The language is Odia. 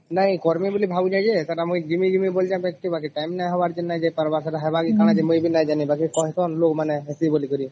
ନାଇଁ ଅକରବେ ବୋଲି ଭାଵଚେ ଯେ ସେଟା ଜିମି ଜିମି ବୋଲି ଯତେ ଟାଇମ ନାଇଁ ହବର ଜୀନା ନାଇଁ ଯାଇପର ସେଟା ହବର କାହଁ ମୁଇ ବି ନାଇଁ ଜଣ ବାକି କହିବଲ କେ ହେଥି ବୋଲକରି